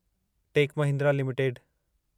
tech Mahindra limited